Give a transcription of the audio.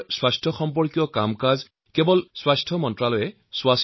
স্বাস্থ্যৰ ক্ষেত্ৰত আজি দেশে প্ৰচলিত পদ্ধতিক পাছ পেলাই আগুৱাই গৈছে